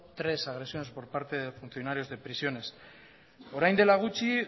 tres agresiones por parte de funcionarios de prisiones orain dela gutxi